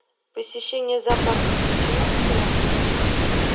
посещение зоопарка включено в стоимость